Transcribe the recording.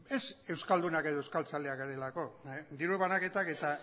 ez euskaldunak edo euskaltzaleak garelako diru banaketak eta